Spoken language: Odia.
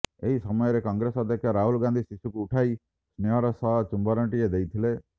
ଏହି ସମୟରେ କଂଗ୍ରେସ ଅଧ୍ୟକ୍ଷ ରାହୁଲ ଖୁସିରେ ଶିଶୁକୁ ଉଠାଇ ସ୍ନେହର ସହ ଚୁମ୍ବନଟିଏ ଦେଇଥିଲେ